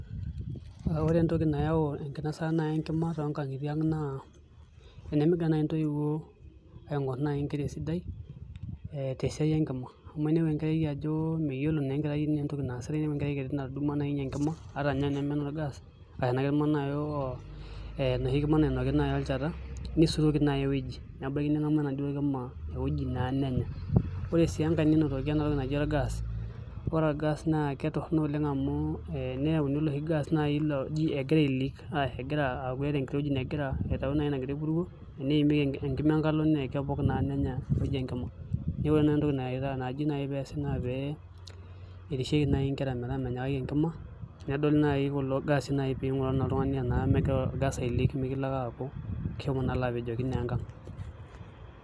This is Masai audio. Ore entoki nayaau enkinasata enkima toonkang'itie ang' naa tenemgira ntoiwuo aing'orr nkera esidai tesiai enkima amu ainepu ajo meyiolo naa enkerai entoki naasita ore naai enkeerai natudumua enkima ata eneme enorgaas arashu enoshi kima nainonki olchata nsiuroki naai ewueji nebaiki neng'amu enaduo kima ewueji naa nenya ore sii enkae nenotoki ena toki naji orgas, ore orgas naa ketorrono oleng' amu ee eneyauni oloshi gas oji egira aileak ashu egira aata enkiti wueji nagira aitau emburuo enimieki enkima enkalo naa kepok naa nenya ewueji enkima neeku ore entoki naji naai peesi naa pee erishieki naai nkera metaa menyikaki enkima nedoli naai kulo gaasi pee ing'uraa naa oltung'ani enaa megira orgas aileak pee mikilo ake alo apejoki naa enkang'.